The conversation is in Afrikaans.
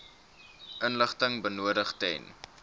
inligting benodig ten